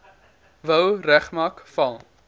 wou regmaak val